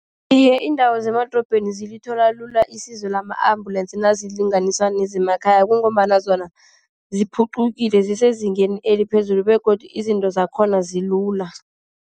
Iye, iindawo zemadorobheni zilithola lula isizo lama-ambulensi nazilinganiswa nezemakhaya, kungombana zona ziphuqukile. Zisezingeni eliphezulu begodu izinto zakhona zilula.